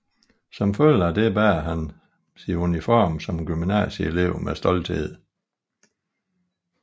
Som følge af det bærer hun sin uniform som gymnasieelev med stolthed